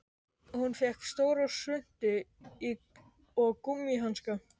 Hún fékk stóra svuntu og gúmmíhanska.